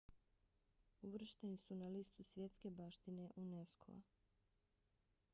uvršteni su na listu svjetske baštine unesco-a